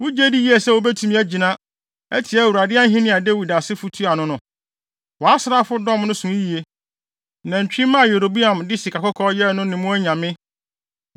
“Wugye di yiye sɛ wubetumi agyina, atia Awurade ahenni a Dawid asefo tua ano no? Wʼasraafodɔm no so yiye. Nantwimma a Yeroboam de sikakɔkɔɔ yɛɛ no ne mo anyame.